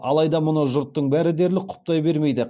алайда мұны жұрттың бәрі дерлік құптай бермейді